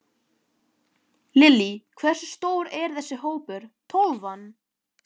Lillý: Hversu stór er þessi hópur, Tólfan?